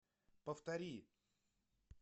повтори